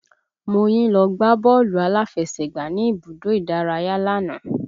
Moyin lọ gbá bọ́ọ̀lù aláfẹsẹ̀gbá ní ibùdó ìdárayá lánàá